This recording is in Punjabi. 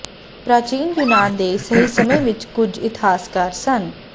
ਪ੍ਰਾਚੀਨ ਯੂਨਾਨ ਦੇ ਸਹੀ ਸਮੇਂ ਵਿਚ ਕੁਝ ਇਤਿਹਾਸਕਾਰ ਸਨ